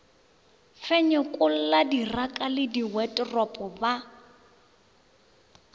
fenyekolla diraka le diwaeteropo ba